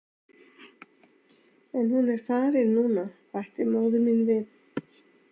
En hún er farin núna, bætti móðir mín við.